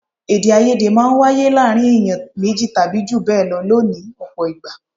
Èdè-áiyedé máa ń wáyé láàárín èèyàn méjì tàbí jù bẹ́ẹ̀ lọ ní ọ̀pọ̀ ìgbà.